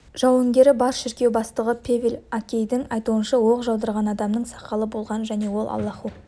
жауынгері бар шіркеу бастығы певел әкейдің айтуынша оқ жаудырған адамның сақалы болған және ол аллаху